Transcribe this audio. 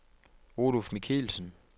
Oluf Michelsen